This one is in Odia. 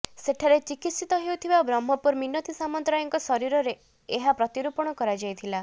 ସେଠାରେ ଚିକିତ୍ସିତ ହେଉଥିବା ବ୍ରହ୍ମପୁରର ମିନତୀ ସାମନ୍ତରାୟଙ୍କ ଶରୀରରେ ଏହା ପ୍ରତିରୋପଣ କରାଯାଇଥିଲା